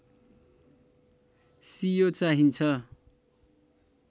सियो चाहिन्छ